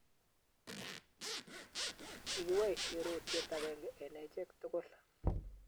Kikiboisye rotwet agenge eng acheek tugul